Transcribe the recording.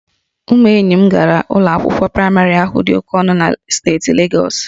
Ụmụ enyi m gara ụlọ akwụkwọ praịmarị ahụ dị oke ọnụ na steeti Legọs